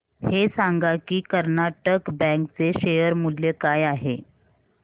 हे सांगा की कर्नाटक बँक चे शेअर मूल्य काय आहे